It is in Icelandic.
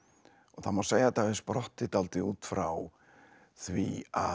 það má segja að þetta hafi sprottið dálítið út frá því að